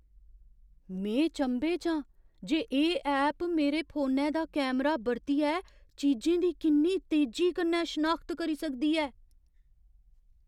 में चंभे च आं जे एह् ऐप मेरे फोनै दा कैमरा बरतियै चीजें दी किन्नी तेजी कन्नै शनाखत करी सकदी ऐ।